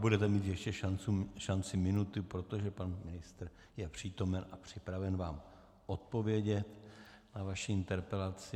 Budete mít ještě šanci minuty, protože pan ministr je přítomen a připraven vám odpovědět na vaši interpelaci.